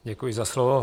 Děkuji za slovo.